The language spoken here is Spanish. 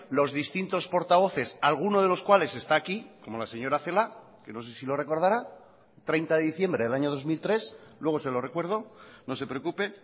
los distintos portavoces alguno de los cuales está aquí como la señora celaá que no sé si lo recordará treinta de diciembre del año dos mil tres luego se lo recuerdo no se preocupe